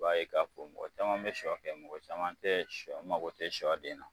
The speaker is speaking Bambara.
I b'a ye k'a fɔ mɔgɔ caman be sɔ kɛ mɔgɔ caman te mago te sɔden na